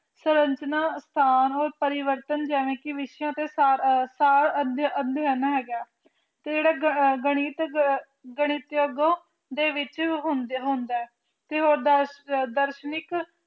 ਸਰਚਨਾ ਸੰਨ ਪਰਿਵਰਤਨ ਜਿਵੇਂ ਕਿ ਵਿਖੇ ਪ੍ਰਕਾਸ਼ ਧਾਰਿਆ ਅਧਿ ਅਧੀਨ ਹੈਗਾ ਕਿਹੜਾ ਗਣਿ ਗਣਿਤ ਗਣਿਤ ਵਿਸ਼ੇ ਵਿੱਚ ਹੁੰਦੇ ਹੁੰਦਾ ਏ ਤੇ ਅਗੇਓ